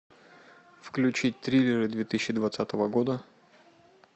включить триллеры две тысячи двадцатого года